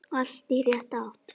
Allt í rétta átt.